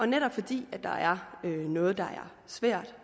netop fordi der er noget der er svært